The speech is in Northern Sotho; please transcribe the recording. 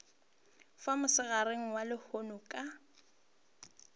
fa mosegareng wa lehono ka